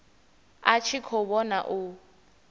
a tshi khou vhona u